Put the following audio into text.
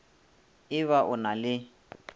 e ba o na le